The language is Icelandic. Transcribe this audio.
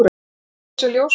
Eigið þið þessa ljóshærðu?